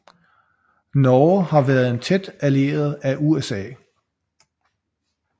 Norge har været en tæt allieret af USA